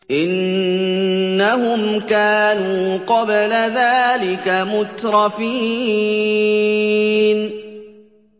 إِنَّهُمْ كَانُوا قَبْلَ ذَٰلِكَ مُتْرَفِينَ